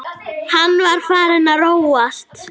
Hann var farinn að róast.